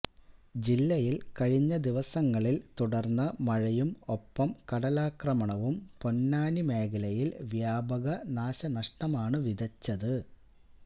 ജില്ലയിൽ കഴിഞ്ഞ ദിവസങ്ങളിൽ തുടർന്ന മഴയും ഒപ്പം കടലാക്രമണവും പൊന്നാനി മേഖലയിൽ വ്യാപക നാശനഷ്ടമാണ് വിതച്ചത്